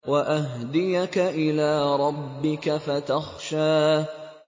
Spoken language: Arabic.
وَأَهْدِيَكَ إِلَىٰ رَبِّكَ فَتَخْشَىٰ